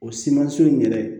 O simanso in yɛrɛ